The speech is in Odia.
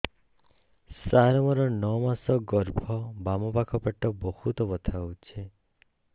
ସାର ମୋର ନଅ ମାସ ଗର୍ଭ ବାମପାଖ ପେଟ ବହୁତ ବଥା ହଉଚି